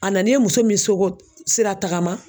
A nan'e muso min soko siratagama